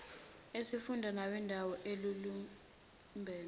esifunda nawendawo alumbene